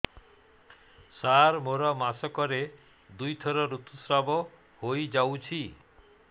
ସାର ମୋର ମାସକରେ ଦୁଇଥର ଋତୁସ୍ରାବ ହୋଇଯାଉଛି